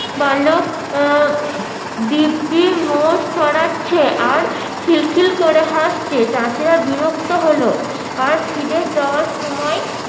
বালক উম দিব্বি মোষ চড়াচ্ছে আর খিলখিল করে হাসছে চাষিরা বিরক্ত হলো আর ফিরে যাওয়ার সময়